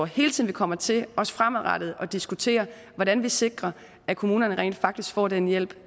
hele tiden kommer til også fremadrettet at diskutere hvordan vi sikrer at kommunerne rent faktisk får den hjælp